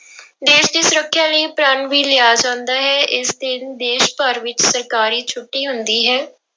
ਦੇਸ ਦੀ ਸੁਰੱਖਿਆ ਲਈ ਪ੍ਰਣ ਵੀ ਲਿਆ ਜਾਂਦਾ ਹੈ ਇਸ ਦਿਨ ਦੇਸ ਭਰ ਵਿੱਚ ਸਰਕਾਰੀ ਛੁੱਟੀ ਹੁੰਦੀ ਹੈ।